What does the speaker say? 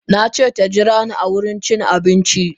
Nace taji rani a wurin cin abinci.